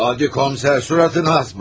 Adi komiser suratına asma!